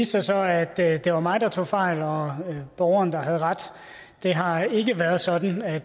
sig så at at det var mig der tog fejl og borgeren der havde ret det har ikke været sådan at